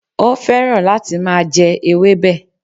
Ó fẹ́ràn láti máa je ewébè